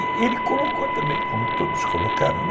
E ele colocou também, como todos colocaram, né?